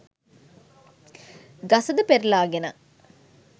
ගසද පෙරළාගෙන